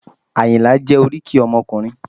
Àyìnlá jẹ́ oríkì ọmọkùnrin